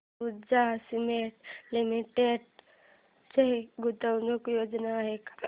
Ambuja cement limited च्या गुंतवणूक योजना आहेत का